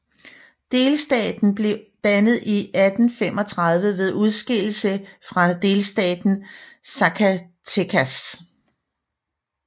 Delstaten blev dannet i 1835 ved udskillelse fra delstaten Zacatecas